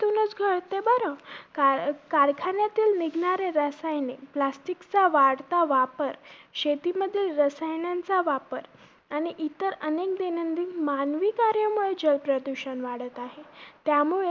Car~ कारखान्यातील निघणारे रसायने, plastic चा वाढता वापर, शेतीमधील रसायनांचा वापर आणि इतर अनेक दैंनदिन मानवी कार्यामुळे जलप्रदूषण वाढत आहे. त्यामुळे